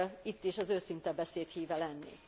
Itt is az őszinte beszéd híve lennék.